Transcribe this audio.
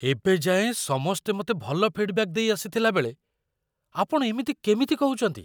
ଏବେ ଯାଏଁ ସମସ୍ତେ ମତେ ଭଲ ଫି'ଡ୍ବ୍ୟାକ୍ ଦେଇ ଆସିଥିଲାବେଳେ, ଆପଣ ଏମିତି କେମିତି କହୁଚନ୍ତି!